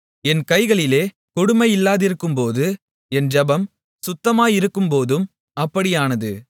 என் கைகளிலே கொடுமை இல்லாதிருக்கும்போதும் என் ஜெபம் சுத்தமாயிருக்கும்போதும் அப்படியானது